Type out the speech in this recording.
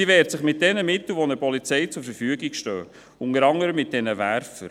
Sie wehrt sich mit den Mitteln, die einer Polizei zur Verfügung stehen, unter anderem mit diesen Werfern.